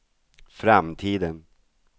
framtiden